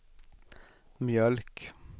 mjölk